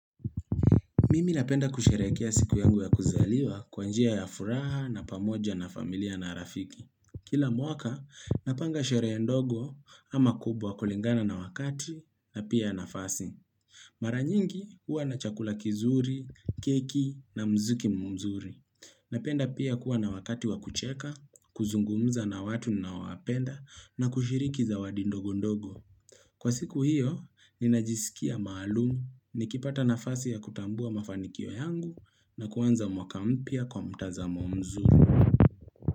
Mimi napenda kusherehekea siku yangu ya kuzaliwa kwa njia ya furaha na pamoja na familia na rafiki. Kila mwaka napanga shereya ndogo ama kubwa kulingana na wakati na pia nafasi. Mara nyingi huwa na chakula kizuri, keki na mziki mzuri. Napenda pia kuwa na wakati wa kucheka, kuzungumza na watu ninaowapenda na kushiriki zawadi ndogu ndogo. Kwa siku hiyo, ninajisikia maalumu nikipata nafasi ya kutambua mafanikio yangu na kuanza mwaka mpya kwa mtazamo mzuri.